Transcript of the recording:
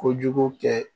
Kojugu kɛ